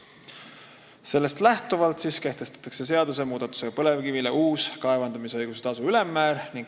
Sellest lähtuvalt siis kehtestatakse seadust muutes uus põlevkivi kaevandamisõiguse tasu ülemmäär.